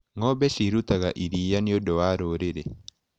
Ngombe cirutaga iria niũndũ wa rũrĩri.